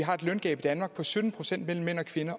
har et løngab i danmark på sytten procent mellem mænd